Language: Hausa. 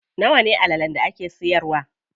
Nawa ne allalen da yake siyarwa?